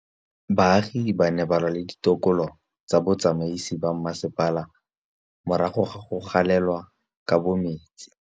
Baagi ba ne ba lwa le ditokolo tsa botsamaisi ba mmasepala morago ga go gaolelwa kabo metsi